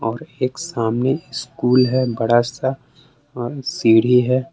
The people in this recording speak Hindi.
एक सामने स्कूल है बड़ा सा अ सीढ़ी है।